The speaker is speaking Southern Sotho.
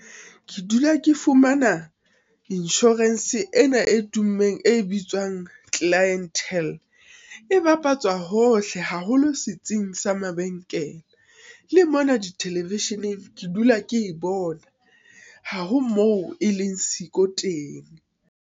Ke dula ke fumana insurance ena e tummeng e bitswang Clientele, e bapatswa hohle, haholo setsing sa mabenkele, le mona di television-eng ke dula ke e bona, ha ho moo e leng siko teng.